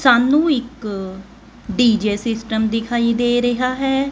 ਸਾਨੂੰ ਇੱਕ DJ system ਦਿਖਾਈ ਦੇ ਰਿਹਾ ਹੈ।